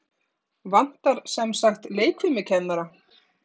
Vantar semsagt leikfimikennara?